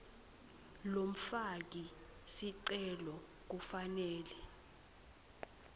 lomfaki sicelo kufanele